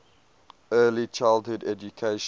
early childhood education